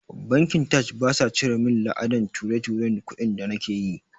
Bankin taj basa cire min la'adan ture-turen kudi da nake yi